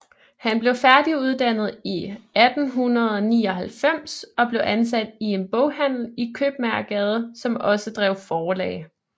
Han blev færdiguddannet i 1899 og blev ansat i en boghandel i Købmagergade som også drev forlag